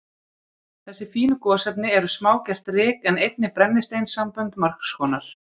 Þessi fínu gosefni eru smágert ryk, en einnig brennisteinssambönd margs konar.